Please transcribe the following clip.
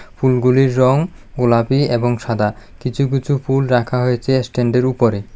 ফুলগুলির রং গোলাপি এবং সাদা কিছু কিছু ফুল রাখা হয়েছে এস্ট্যান্ড -এর উপরে।